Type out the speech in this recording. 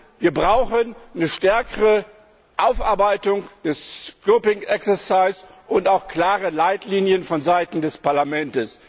Also Wir brauchen eine stärkere Aufarbeitung des scoping exercise und auch klare Leitlinien von Seiten des Parlaments.